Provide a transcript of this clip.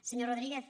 senyor rodríguez